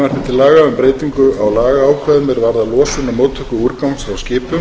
til laga um breytingu á lagaákvæðum er varða losun og móttöku úrgangs frá skipum